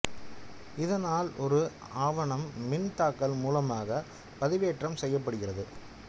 இதனால் ஒரு ஆவணம் மின் தாக்கல் மூலமாக பதிவேற்றம் செய்யப்படுகிறது